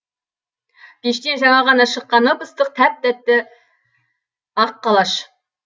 пештен жаңа ғана шыққан ып ыстық тәп тәтті ақ қалаш